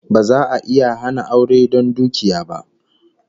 Ba za'a iya hana aure don dukiya ba